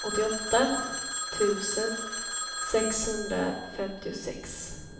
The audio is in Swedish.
åttioåtta tusen sexhundrafemtiosex